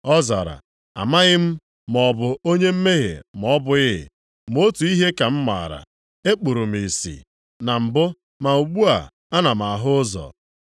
Ọ zara, “Amaghị m maọbụ onye mmehie ma ọ bụghị. Ma otu ihe ka m maara, ekpuru m ìsì na mbụ ma ugbu a ana m ahụ ụzọ.”